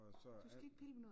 Du skal ikke pille ved noget!